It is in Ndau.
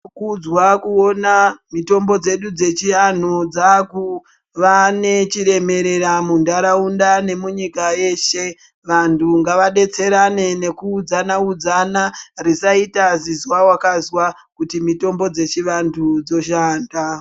Zvinokudzwa kuona mitombo dzedu dzechianhu dzakuva nechiremerera muntaraunda nemunyika yeshe. Vantu ngavadetserane nekuudzana udzana, risaita zizwa wakazwa kuti mitombo dzechivantu dzoshanda.